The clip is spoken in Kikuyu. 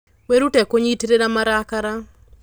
Wĩrute kũnyitĩrĩra marakara.